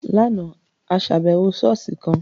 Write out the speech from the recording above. Láàna, a ṣàbẹwò ṣọ̀ọ́sì kan.